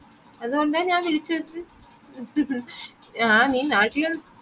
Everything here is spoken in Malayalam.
അതുകൊണ്ടാ ഞാൻ വിളിച്ചത് ആഹ് നീ നാട്ടിൽ ഉ